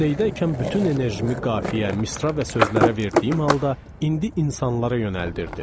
Liseydəykən bütün enerjimi qafiyə, misra və sözlərə verdiyim halda indi insanlara yönəldirdim.